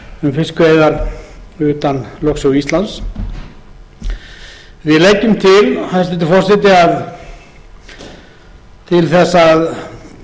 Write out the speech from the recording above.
um fiskveiðar utan lögsögu íslands við leggjum til hæstvirtur forseti að til þess að